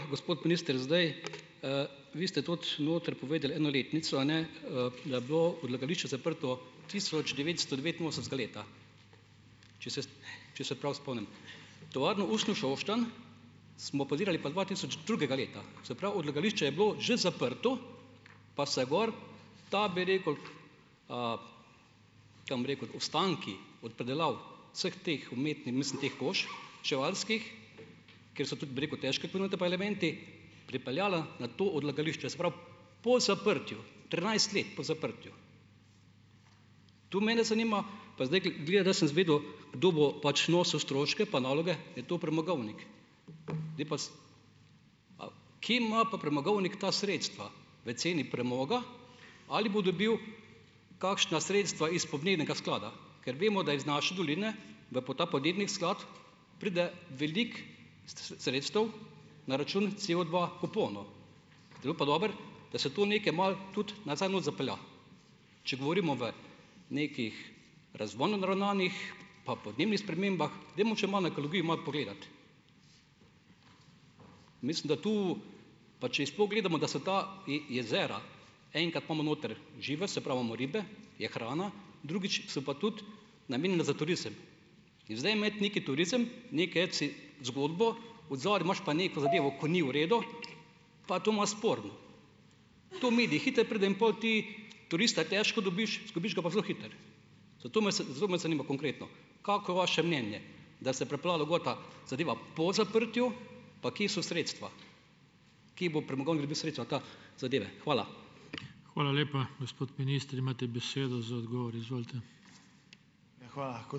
Gospod minister, zdaj, vi ste tudi notri povedali eno letnico, a ne, da je bilo odlagališče zaprto tisoč devetsto devetinosemdesetega leta. Če se, če se prav spomnim. Tovarno usnja Šoštanj smo podirali pa dva tisoč drugega leta. Se pravi, odlagališče je bilo že zaprto, pa se gor ta, bi rekel, tem bi rekel, ostanki od predelav vseh teh mislim teh kož čevljarskih, ker so tudi, bi rekel, težke pa elementi, pripeljali na to odlagališče. Se pravi, po zaprtju, trinajst let po zaprtju. Tu mene zanima. Pa zdaj gleda, da sem izvedel, kdo bo pač nosil stroške pa naloge, je to premogovnik, ne pa kje ima pa premogovnik ta sredstva? V ceni premoga? Ali bo dobil kakšna sredstva iz podnebnega sklada? Ker vemo, da iz naše doline v ta podnebni sklad pride veliko sredstev na račun COdva kuponov. pa dobro, da se to nekaj malo tudi nazaj not zapelje. Če govorimo o nekih razvojno naravnanih pa podnebnih spremembah, dajmo še malo na ekologijo malo pogledati. Mislim, da tu, pa če jih sploh gledamo, da se ta jezera enkrat imamo notri žive, se pravi imamo ribe, je hrana, drugič so pa tudi namenjena za turizem. In zdaj imeti neki turizem, zgodbo, odzadaj imaš pa neko zadevo , ko ni v redu, pa je to malo sporno. To midi hitro pride in pol ti turista težko dobiš, izgubiš ga pa zelo hitro. Zato me zanima konkretno, kako vaše mnenje, da se pripeljalo gor ta zadeva po zaprtju pa kje so sredstva? Kje bo premogovnik dobil sredstva ta zadeve. Hvala.